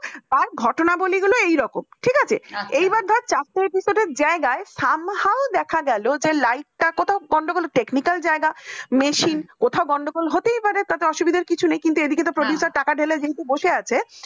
আর ঘটনা বলে গেল এরকম ঠিক আছে? , এবার ধর চারটা পেছনের জায়গায় সামহাও দেখা গেল light কোথাও গন্ডগোল technical জায়গা machine কোথাও গন্ডগোল হতেই পারে তাতে অসুবিধা কিছু নাই এদিকে producer যে টাকা ঢেলে বসে আছে ।